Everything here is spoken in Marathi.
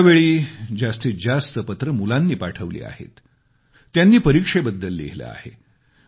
यावेळी जास्तीत जास्त पत्र मुलांनी पाठवली आहेत त्यांनी परीक्षेबद्दल लिहीले आहे